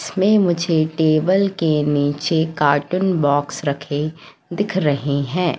इसमे मुझे टेबल के नीचे कार्टून बॉक्स रखें दिख रहे हैं।